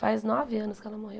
Faz nove anos que ela morreu.